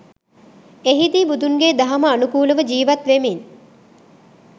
එහිදි බුදුන්ගේ දහම අනුකූලව ජීවත් වෙමින්